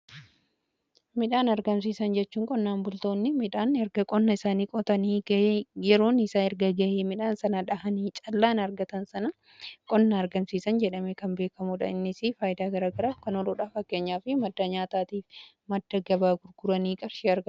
Midhaan argamsiisan jechuun qonnaan bultoonni midhaan erga qonna isaanii qotanii yeroon isaa erga ga'ee midhaan sana dhahanii callaan argatan sana qonna argamsiisan jedhame kan beekamuudha innisii faayida garaagaraaf kan ooludha. Fakkeenyaa fi madda nyaataatiif madda gabaa gurguranii qarshee argachuuti.